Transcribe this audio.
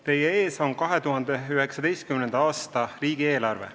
Teie ees on 2019. aasta riigieelarve.